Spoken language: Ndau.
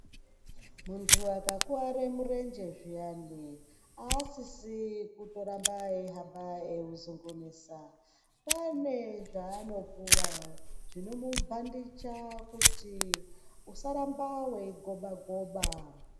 Muntu aka kware mu renje zviyani a sisi kuto ramba ei hamba ewu zungunisa pane zvaano puwa zvinomu bhandicha kuti usa ramba wei goba goba .